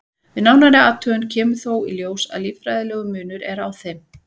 Við nánari athugun kemur þó í ljós að líffærafræðilegur munur er á þeim.